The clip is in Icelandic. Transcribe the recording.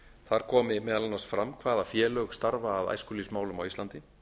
þar komi meðal annars fram hvaða félög starfa að æskulýðsmálum á íslandi